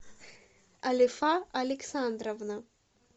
алифа александровна